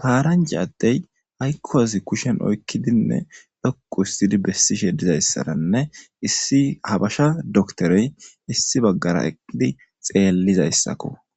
paaranje addey haykko azi kushen oykkidinne lokku hustidi bessi sheedizayssaranne issi habasha doktorey issi baggara eqqidi xeellizayssakko